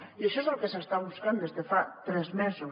i això és el que s’està buscant des de fa tres mesos